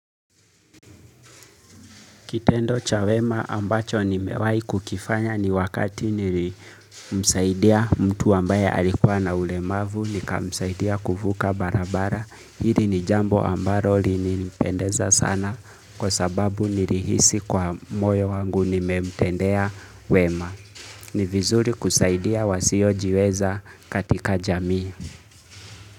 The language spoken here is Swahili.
Kitendo cha wema ambacho nimewahi kukifanya ni wakati nilimsaidia mtu ambaye alikuwa na ulemavu nikamsaidia kuvuka barabara. Hili ni jambo ambalo lininipendeza sana kwa sababu nilihisi kwa moyo wangu nimemtendea wema. Ni vizuri kusaidia wasiojiweza katika jamii.